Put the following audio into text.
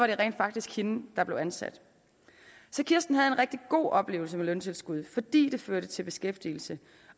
det rent faktisk hende der bliver ansat så kirsten havde en rigtig god oplevelse med løntilskud fordi det førte til beskæftigelse